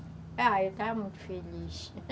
Ah, eu estava feliz.